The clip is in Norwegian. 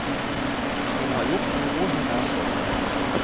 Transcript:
Hun har gjort noe hun er stolt av.